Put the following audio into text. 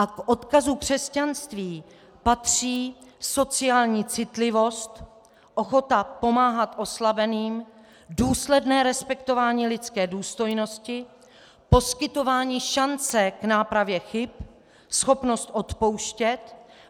A k odkazu křesťanství patří sociální citlivost, ochota pomáhat oslabeným, důsledné respektování lidské důstojnosti, poskytování šance k nápravě chyb, schopnost odpouštět.